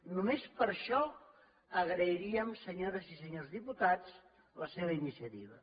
només per això agrairíem senyores i senyors diputats la seva iniciativa